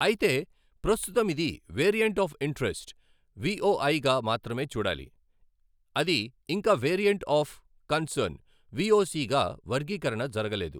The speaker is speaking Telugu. అయితే ప్రస్తుతం ఇది వేరియంట్ అఫ్ ఇంటరెస్ట్ విఓఐ గా మాత్రమే చూడాలి, అది ఇంకా వేరియంట్ అఫ్ కన్సర్న్ విఓసి గా వర్గీకరణ జరగలేదు.